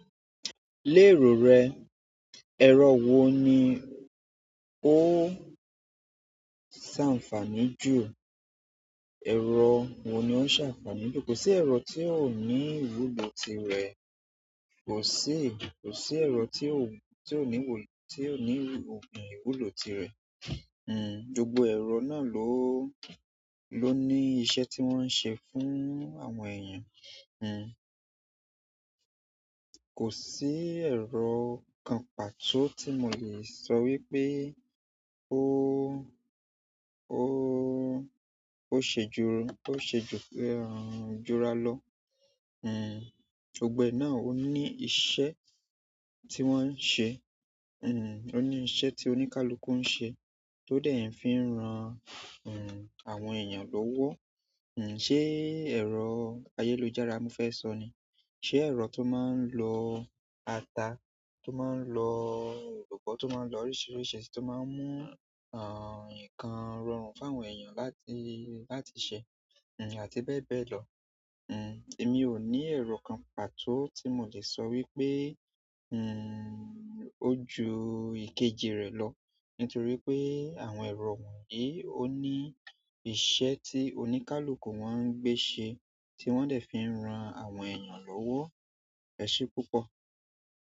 Léèrò rẹ, ẹ̀rọ wo ni ó ṣàǹfàní jù? Ẹ̀rọ wo ni ó ń ṣàǹfàní jù? Kò sí ẹ̀rọ tí ò ní ìwúlò tirẹ̀, kò sí, kò sí ẹ̀rọ tí ò ní, tí ò ní òpin ìwúlò tirẹ̀. Hmm, gbogbo ẹ̀rọ náà ló, ló ní iṣẹ́ tí wọ́n ń ṣe fún àwọn èèyàn. Hmm, kò sí ẹ̀rọ kan pàtó tí mo le sọ wípé ó, ó, ó ṣe ju, ó ṣe jú, er, jura lọ. Hmm, gbogbo ẹ̀ náà ó ní iṣẹ́ tí wọ́n ń ṣe. Nn òní iṣẹ́ ti oníkálukú n ṣe to dẹ̀ fí ń ran àwọn èèyàn lọwọ hmm, ṣé ẹ̀rọ ayélujára mo fẹ́ sọ ni? Ṣé ẹ̀rọ tó máa ń lo ata, tó máa ń lo elubọ́, tó máa ń lo oríṣiríṣi, tó máa ń mú, er, nǹkan rọrùn fún àwọn èèyàn láti, láti ṣe? Hmm, àti bẹ́ẹ̀ bẹ́ẹ̀ lọ. Hmm, èmi ò ní ẹ̀rọ kan pàtó tí mo le sọ wípé, hmm, ó ju ìkejì rẹ̀ lọ nítorí pé àwọn ẹ̀rọ wọ̀nyí ó ní iṣẹ́ tí oníkálukú wọ́n ń gbé ṣe tí wọ́n dẹ̀ fi ń ran àwọn èèyàn lówó. Ẹ̀ ṣe púpọ̀.